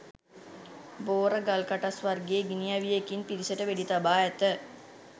බෝර ගල්කටස් වර්ගයේ ගිනිඅවියකින් පිරිසට වෙඩිතබා ඇත